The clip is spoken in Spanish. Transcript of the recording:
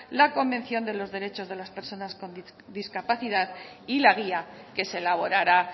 la convención de los derechos de las personas con discapacidad y la guía que se elaborará